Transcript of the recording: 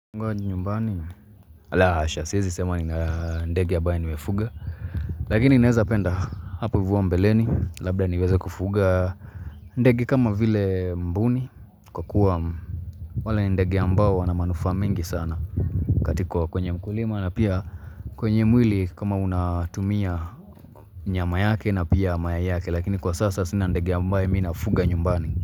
Mwani nyumbani ala asha siwezi sema ni ndege ambaye nimefuga Lakini naweza penda hapo hivo mbeleni labda niweze kufuga ndege kama vile mbuni kwa kuwa wala ndege ambao wana manufaa mingi sana Katiko kwenye mkulima na pia kwenye mwili kama unatumia nyama yake na pia mayai yake Lakini kwa sasa sina ndege ambaye mimi nafuga nyumbani.